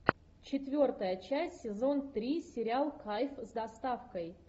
четвертая часть сезон три сериал кайф с доставкой